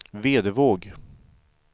Vedevåg